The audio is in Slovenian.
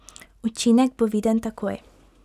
Učinek bo viden takoj.